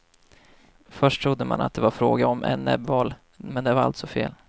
Först trodde man att det var fråga om en näbbval, men det var alltså fel.